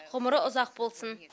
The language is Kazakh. ғұмыры ұзақ болсын